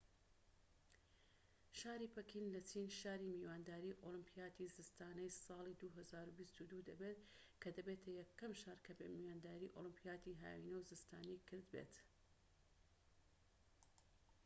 شاری پەکین لە چین شاری میوانداری ئۆلیمپیاتی زستانەی ساڵی 2022 دەبێت کە دەبێتە یەکەم شار کە میوانداری ئۆلیمپیاتی هاوینە و زستانی کرد بێت